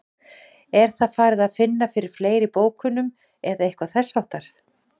Er það farið að finna fyrir fleiri bókunum eða eitthvað þess háttar?